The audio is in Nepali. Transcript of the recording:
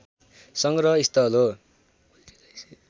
संग्रह स्थल हो